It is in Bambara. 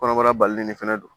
Kɔnɔbara balilen fɛnɛ don